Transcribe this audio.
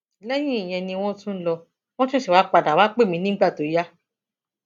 lẹyìn ìyẹn ni wọn tún lọ wọn ṣẹṣẹ wáá padà wàá pè mí nígbà tó yá